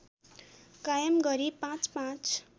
कायम गरी पाँचपाँच